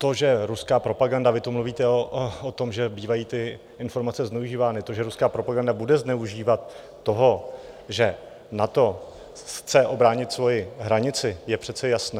To, že ruská propaganda - vy tu mluvíte o tom, že bývají ty informace zneužívány - to, že ruská propaganda bude zneužívat toho, že NATO chce ubránit svoji hranici, je přece jasné.